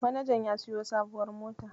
Manajan ya siyo sabuwar mota.